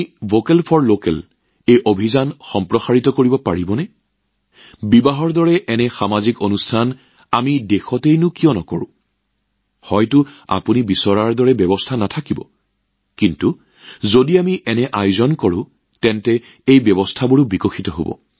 vocal for লোকেলৰ এই মিছনৰ বিষয়ে আপোনালোকে এক্সট্ৰাপলেট কৰিব পাৰিবনে আমি নিজৰ দেশতে এনে বিবাহ অনুষ্ঠান কিয় আয়োজন নকৰোঁ সম্ভৱ যে আপোনালোকে বিচৰা ধৰণৰ ব্যৱস্থা আজি নাথাকিবও পাৰে কিন্তু আমি যদি এনে অনুষ্ঠান আয়োজন কৰো তেন্তে ব্যৱস্থাও গঢ় লৈ উঠিব